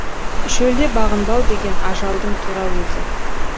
шөлде бағынбау деген ажалдың тура өзі